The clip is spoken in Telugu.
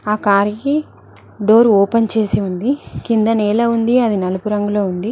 ఆ కార్ కి డోర్ ఓపెన్ చేసి ఉంది కింద నేల ఉంది అని నలుపు రంగులో ఉంది.